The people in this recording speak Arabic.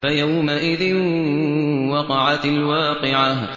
فَيَوْمَئِذٍ وَقَعَتِ الْوَاقِعَةُ